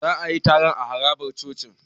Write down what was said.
Za a yi taron a harabar cocin.